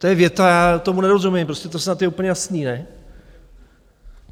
To je věta - já tomu nerozumím prostě, to snad je úplně jasné, ne?